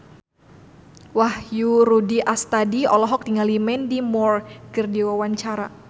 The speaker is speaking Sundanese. Wahyu Rudi Astadi olohok ningali Mandy Moore keur diwawancara